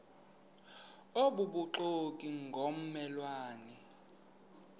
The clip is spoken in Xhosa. obubuxoki ngomme lwane